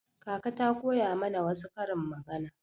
Kaka ta koya mana wasu karin magana.